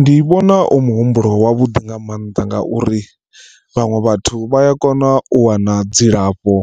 Ndi vhona u muhumbulo wavhuḓi nga maanḓa ngauri vhaṅwe vhathu vhaya kona u wana dzilafho